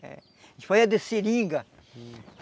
A gente fazia de seringa.